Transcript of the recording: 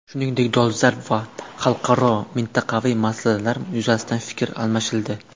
Shuningdek, dolzarb xalqaro va mintaqaviy masalalar yuzasidan fikr almashildi.